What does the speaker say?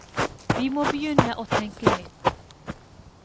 Vi må begynne å tenke nytt.